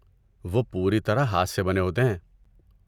وہ پوری طرح ہاتھ سے بنے ہوتے ہیں۔